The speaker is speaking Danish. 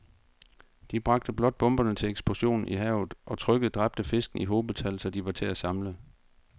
De bragte blot bomberne til eksplosion i havet, hvor trykket dræbte fiskene i hobetal, så de var til at samle